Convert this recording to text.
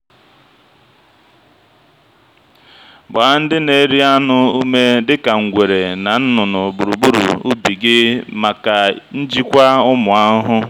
gbaa ndị na-eri anụ ume dị ka ngwere na nnụnụ gburugburu ubi gị maka njikwa ụmụ ahụhụ.